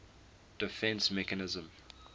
defence mechanism